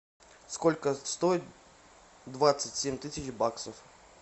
сколько стоит двадцать семь тысяч баксов